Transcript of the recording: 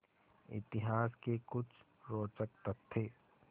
इतिहास के कुछ रोचक तथ्य